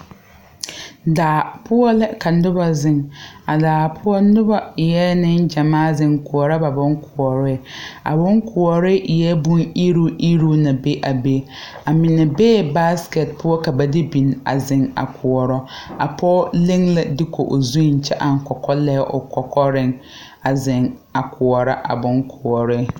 Daa poɔ lɛ ka noba zeŋ a daa poɔ nobɔ eɛɛ neŋ gyamaa zeŋ koɔrɔ ba bonkoɔre a bonkoɔre eɛɛ bon iruŋiruŋ na be a be a mine bee baaskɛt poɔ ka ba de bini a zeŋ a koɔrɔ a pɔɔ leŋ la duku o zuiŋ kyɛ aŋ kɔkɔlɛɛ o kɔkɔreŋ a zeŋ a koɔrɔ a bon koɔree.